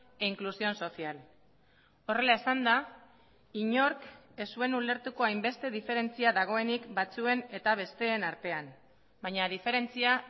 e inclusión social horrela esanda inork ez zuen ulertuko hainbeste diferentzia dagoenik batzuen eta besteen artean baina diferentzia